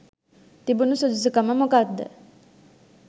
තිබුණු සුදුසු කම මොකක්ද?